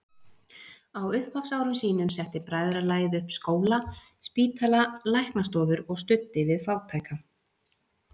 Á upphafsárum sínum setti bræðralagið upp skóla, spítala, læknastofur og studdi við fátæka.